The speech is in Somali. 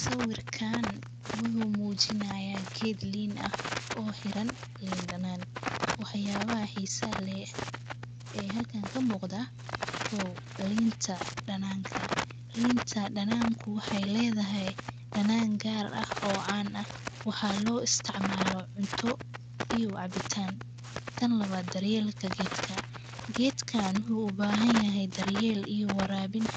Sawiirkan wuxuu mu jinayaa geed liin ah o hiiran liin daanan, wax yabahaa xisahaa leh ee halkan kamuqdaa, kow liinta daananka, liinta daananku wexeey ledhahaay Daanan gaar ah o caan ah, waxaa lo istiicmaalo cunto iyo cabiitan, tan lawaad daar yelka gedka, geedkan wuxuu ubahanyahay daar yeel